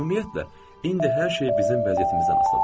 Ümumiyyətlə, indi hər şey bizim vəziyyətimizdən asılıdır.